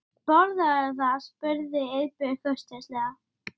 Það vantaði í hann.